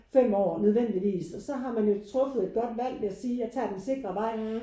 5 år nødvendigvis og så har man jo truffet et godt valg ved at sige jeg tager den sikre vej